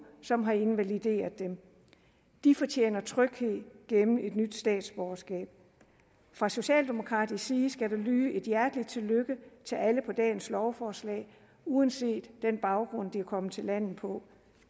som har invalideret dem de fortjener tryghed gennem et nyt statsborgerskab fra socialdemokratisk side skal der lyde et hjerteligt tillykke til alle på dagens lovforslag uanset den baggrund de er kommet til landet på